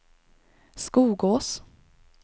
Skogås